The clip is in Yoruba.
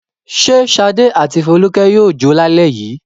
Ṣé Ṣadé àti Folúkẹ́ yóò jó lálẹ́ yìí?